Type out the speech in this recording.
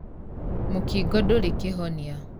Mũkingo ndũrĩkĩhonia.